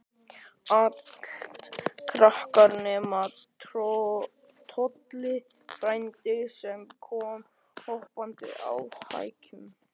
Allt krakkar, nema Tolli frændi, sem kom hoppandi á hækjunum.